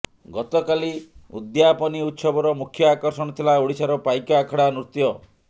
ଗତକାଲି ଉଦ୍ଯାପନୀ ଉତ୍ସବର ମୁଖ୍ୟ ଆକର୍ଷଣ ଥିଲା ଓଡ଼ିଶାର ପାଇକ ଆଖଡ଼ା ନୃତ୍ୟ